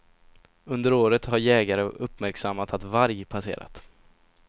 Under året har jägare uppmärksammat att varg passerat.